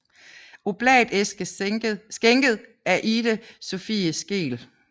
Oblatæske skænket af Ide Sophie Skeel